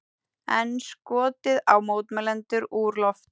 Enn skotið á mótmælendur úr lofti